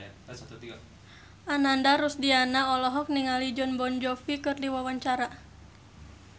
Ananda Rusdiana olohok ningali Jon Bon Jovi keur diwawancara